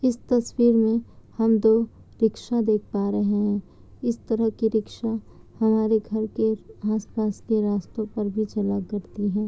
इस तस्वीर में हम दो रिक्शा देख पा रहे है इस तरह की रिक्शा हमारे घर के आस पास के रास्तो पर भी चला करती है।